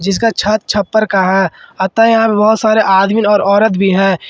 जिसका छत छप्पर का है अतः यहां बहुत सारे आदमी और औरत भी है।